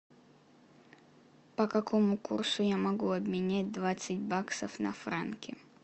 по какому курсу я могу обменять двадцать баксов на франки